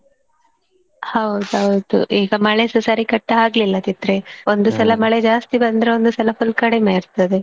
ಹೌದೌದು ಈಗ ಮಳೆ ಸ ಸರಿಕಟ್ಟ್ ಆಗ್ಲಿಲ್ಲದಿದ್ರೆ ಮಳೆ ಜಾಸ್ತಿ ಬಂದ್ರೆ ಒಂದು ಸಲ full ಕಡಿಮೆ ಇರ್ತದೆ.